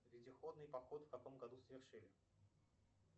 вездеходный поход в каком году совершили